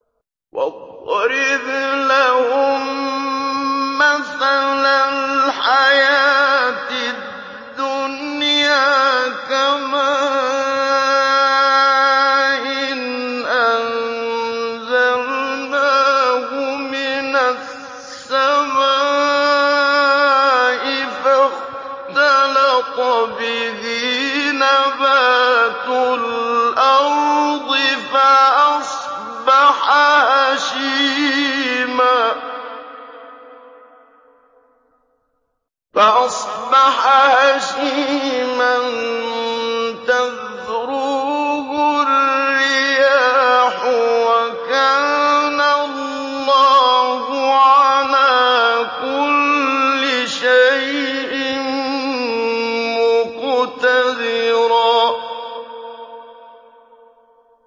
وَاضْرِبْ لَهُم مَّثَلَ الْحَيَاةِ الدُّنْيَا كَمَاءٍ أَنزَلْنَاهُ مِنَ السَّمَاءِ فَاخْتَلَطَ بِهِ نَبَاتُ الْأَرْضِ فَأَصْبَحَ هَشِيمًا تَذْرُوهُ الرِّيَاحُ ۗ وَكَانَ اللَّهُ عَلَىٰ كُلِّ شَيْءٍ مُّقْتَدِرًا